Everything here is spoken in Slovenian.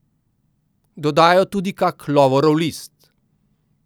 Dodajo tudi kak lovorov list.